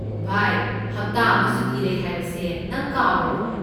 ꯚꯥꯏ, ꯍꯞꯇꯥ ꯑꯃ ꯁꯨꯇꯤ ꯂꯩ ꯍꯥꯏꯕꯁꯦ ꯅꯪ ꯀꯥꯎꯔꯕꯣ?